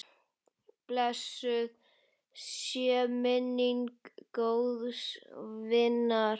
Blessuð sé minning góðs vinar.